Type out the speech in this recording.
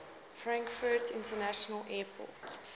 frankfurt international airport